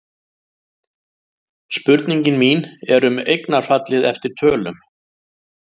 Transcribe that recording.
Spurningin mín er um eignarfallið eftir tölum.